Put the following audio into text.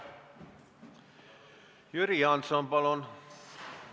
Jüri Jaanson, palun!